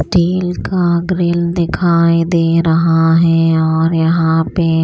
steel का grill दिखाई दे रहा है और यहां पे --